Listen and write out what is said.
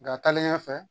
Nka taalen ɲɛfɛ